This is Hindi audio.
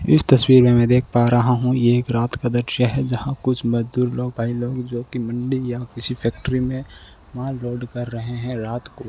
इस तस्वीर में मैं देख पा रहा हूं ये एक रात का दृश्य है जहां कुछ मजदूर लोग भाई लोग जो कि मंडी या किसी फैक्टरी में माल लोड कर रहे हैं रात को।